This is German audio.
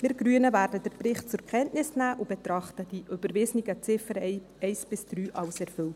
Wir Grüne werden den Bericht zur Kenntnis nehmen und betrachten die überwiesenen Ziffern 1–3 als erfüllt.